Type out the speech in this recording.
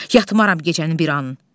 Yatmaram gecənin bir anın.